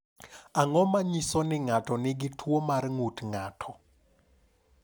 Ang’o ma nyiso ni ng’ato nigi tuwo mar ng’ut ng’ato?